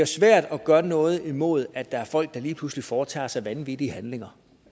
svært at gøre noget imod at der er folk der lige pludselig foretager sig vanvittige handlinger